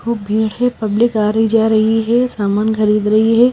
खूब भीड़ है। पब्लिक आ रही जा रही है। सामान खरीद रही है।